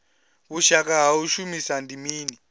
vhushaka ha u shumisana ndi mini